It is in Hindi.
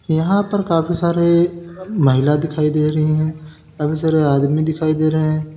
यहां पर काफी सारे महिला दिखाई दे रही हैं काफी सारे आदमी दिखाई दे रहे हैं।